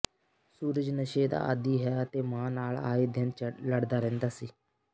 ਸੂਰਜ ਨਸ਼ੇ ਦਾ ਆਦੀ ਹੈ ਅਤੇ ਮਾਂ ਨਾਲ ਆਏ ਦਿਨ ਲੜਦਾ ਰਹਿੰਦਾ ਸੀ